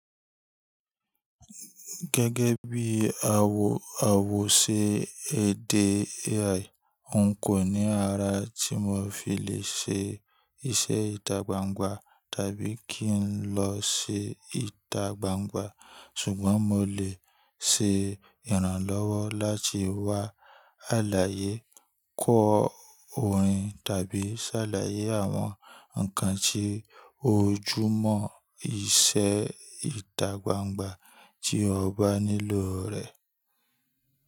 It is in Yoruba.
Gẹ́gẹ́ bí a wo, a wo ṣe èdè AI, n kò ní ara tí mo fi lè ṣe iṣẹ́ ìta gbangba tàbí kí n lọ ṣe ìta gbangba. Ṣùgbọ́n mo lè ṣe ìrànlọ́wọ́ láti wá àlàyé, kọ orin tàbí ṣ'àlàyé àwọn ǹkan tí ojúmọ́ iṣẹ́ ìta gbangba tí o bá nílò rẹ̀.